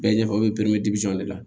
Bɛɛ ɲɛfɛ u bɛ de la